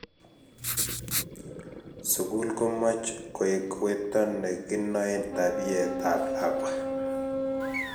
sukul komoch koek wetonekinoen tabiait ab lakwa